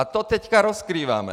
A to teď rozkrýváme.